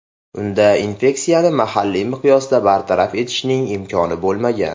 Unda infeksiyasini mahalliy miqyosda bartaraf etishning imkoni bo‘lmagan.